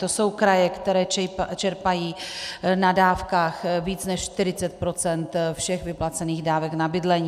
To jsou kraje, které čerpají na dávkách více než 40 % všech vyplacených dávek na bydlení.